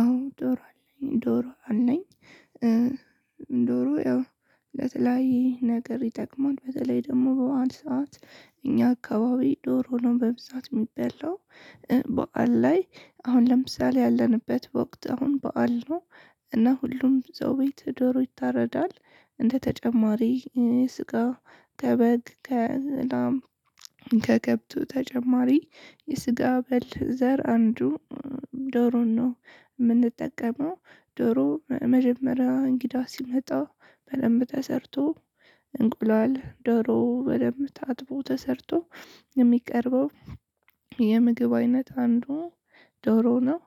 አዎ ዶሮ አለኝ ዶሮ አለኝ። ዶሮ ያው ለተለያየ ነገር ይጠቅማል በተለይ ደግሞ በዓል ሰዓት እኛ አካባቢ ዶሮ ነው በብዛት የሚበላው። በዓል ላይ አሁን ለምሳሌ ያለንበት ወቅት አሁን በዓል ነው። እና ሁሉም ሰው ቤት ዶሮ ይታረዳል። እንደ ተጨማሪ ስጋ ከበግ ከላም ከከብቱ ተጨማሪ የስጋ በል ዘር አንዱ ዶሮን ነው የምንጠቀመው። ዶሮ መጀመሪያ እንግዳ ሲመጣ በደንብ ተስርቶ እንቁላል ዶሮ በደንብ ታጥቦ ተሰርቶ የሚቀርበው የምግብ አይነት አንዱ ዶሮ ነው።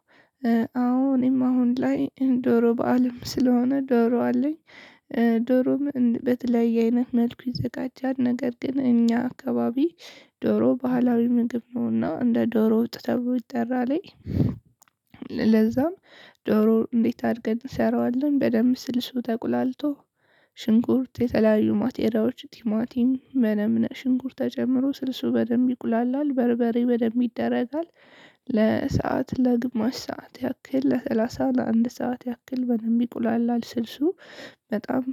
አዎ እኔም አሁን ላይ ዶሮ በዓልም ስለሆነ ዶሮ አለኝ። ዶሮም በተለያየ አይነት መልኩ ይዘጋጃል ነገር ግን እኛ አካባቢ ዶሮ ባህላዊ ምግብ ነውና እንደ ዶሮ ወጥ ተብሎ ይጠራል። ዶሮ እንዴት አድርገን እንሰራዋለን በደንብ ስልሱ ተቁላልቶ ሽንኩርት የተለያዩ ማቴሪያዎች ቲማቲም መነም ሽንኩርት ተጀምሮ ስልሱ በደንብ ይቁላላል በርበሬ በደንብ ይደረጋል። ለሰአት ለግማሽ ሰዓት ያክል ለሰላሳ ለአንድ ሰዓት ያክል በደንብ ይቁላል ስልሱ። በጣም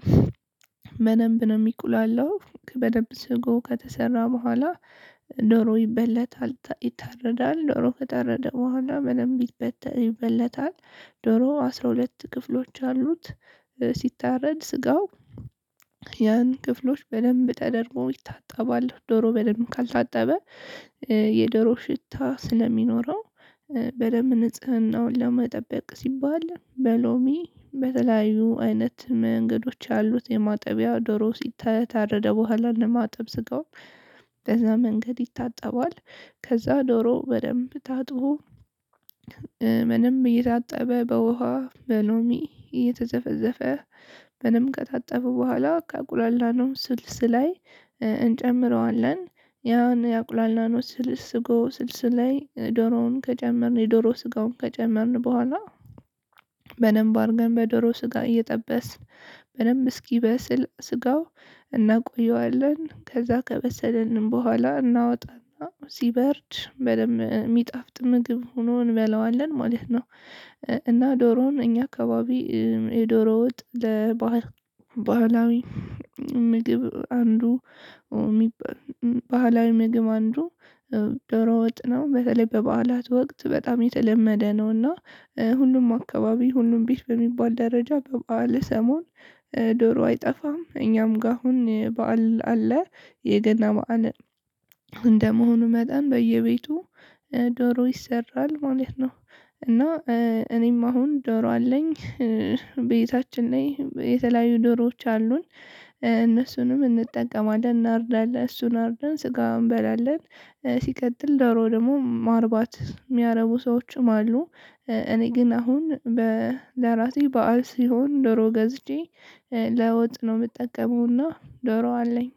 በደንብ ነው የሚቁላላው በደንብ ስጎ ከተሰራ በኋላ። ዶሮ ይበለታል ይታረዳል ዶሮ ከተረደ በኋላ ምንም ይበለታል ይበልጣል። ዶሮ አስራ ሁለት ክፍሎች አሉት። ሲታረድ ስጋው ያን ክፍሎች በደንብ ተደርጎ ይታጠባል ዶሮ በደንብ ካልታጠበ የዶሮ ሽታ ስለሚኖረው። በደንብ ንጽህናውን ለመጠበቅ ሲባል በሎሚ በተለያዩ አይነት መንገዶች ያሉት የማጠቢያ ዶሮ ሲታተረደ በኋላ ለማጠብ ስጋው ከዛ መንገድ ይታጠባል። ከዛ ዶሮ በደንብ ታጥቦ። ምንም እየታጠበ በውሃ በሎሚ እየተዘፈዘፈ ምንም ከታጠበ በኋላ ካቁላላነው ስልስ ላይ እንጨምረዋለን። ያን ያቁላላነው ስልስ ጎ ስልስ ላይ ዶሮውን ከጨመርን የዶሮ ስጋውን ከጨመርን በኋላ። በደንብ አድርገን በዶሮ ስጋ እየጠበስን በደንብ እስኪበስል ስጋው እናቆየዋለን ከዛ ከበሰለንን በኋላ እናወጣና ሲበርድ በደንብ የሚጣፍጥ ምግብ ሆኖ እንበለዋለን ማለት ነው። እና ዶሮውን እኛ አካባቢ የዶሮ ወጥ ለባህላዊ ምግብ አንዱ ባህላዊ ምግብ አንዱ ዶሮ ወጥ ነው። በተለይ በበዓላት ወቅት በጣም የተለመደ ነውና። ሁሉም አካባቢ ሁሉም ቤት በሚባል ደረጃ በበዓል ሰሞን ዶሮ አይጠፋም። እኛም ጋር አሁን በዓል አለ የገና በዓል እንደመሆኑ መጠን በየቤቱ ዶሮ ይሰራል ማለት ነው። እና እኔም አሁን ዶሮ አለኝ። ቤታችን ላይ የተለያዩ ዶሮዎች አሉን። እነሱንም እንጠቀማለን እናርዳለን እሱን አርደን ስጋው እንበላለን። ሲቀጥል ደግሞ ማርባት የሚያረቡ ሰዎችም አሉ። እኔ ግን አሁን ለራሴ በዓል ሲሆን ደሮ ገዝቼ ለወጥ ነው የምጠቀመውና ዶሮ አለኝ።